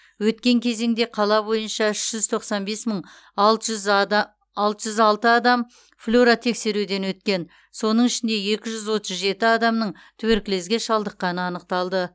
өткен кезеңде қала бойынша үш жүз тоқсан бес мың алты жүз алты адам флюоротексеруден өткен соның ішінде екі жүз отыз жеті адамның туберкулезге шалдықққаны анықталды